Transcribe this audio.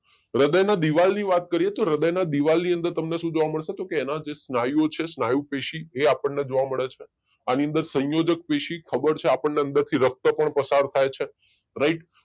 હૃદય ના દીવાલ ની વાત કરીએ તો હૃદયના દીવાલ ની અંદર શું જોવા મળશે કે એના અંદર જે સ્નાયુઓ છે સ્નાયુ પેશી એ આપણને જોવા મળે છે આની અંદર સંયોજક પેશી ખબર છે આપણને અંદર થી રક્ત પણ પસાર થાય છે રાઈટ